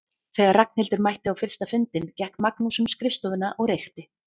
Þegar Ragnhildur mætti á fyrsta fundinn gekk Magnús um skrifstofuna og reykti.